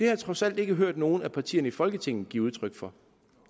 jeg trods alt ikke hørt nogen af partierne i folketinget give udtryk for